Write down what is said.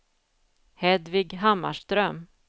Hedvig Hammarström